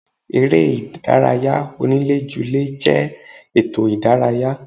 Eré ìdárayá onílé ju lé jẹ́ ètò ìdárayá.